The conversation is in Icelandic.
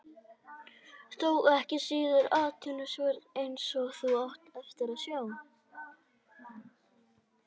Þó ekki síður athyglisvert, eins og þú átt eftir að sjá.